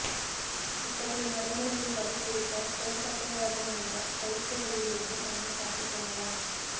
இத்தகைய நடைமுறைகளை கடைப்பிடித்தால் தோள்பட்டைவாதம் என்ற கழுத்து வலியிலிருந்து நம்மைக் காத்துக் கொள்ளலாம்